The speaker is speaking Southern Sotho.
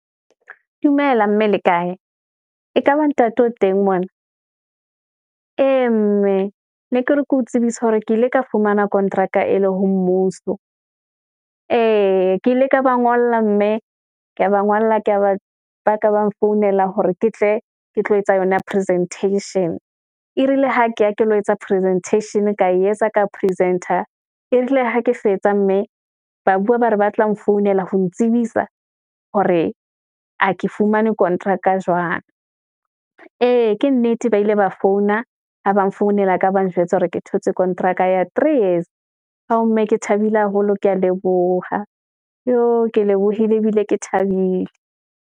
Dumela mme le kae? Ekaba ntate o teng mona, ee mme ne ke re ke o tsebisa hore ke ile ka fumana kontraka e le ho mmuso. Ee ke ile ka ba ngolla mme ke ya ba ngwalla ba ka ba nfounela hore ke tle, ke tlo etsa yona presentation, e rile ha ke ya ke lo etsa presentation-a, ka e etsa ka presenter, ebile ha ke fetsa, mme ba bua, ba re ba tla nfounela, ho ntsebisa hore a ke fumane kontraka jwang. Ee, ke nnete, ba ile ba founa, ha ba nfounela, ka ba njwetsa hore ke thotse kontraka ya three years. Ao mme ke thabile haholo, ke ya leboha, yoh ke lebohile, ebile ke thabile.